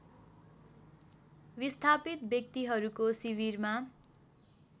विस्थापित व्यक्तिहरूको शिविरमा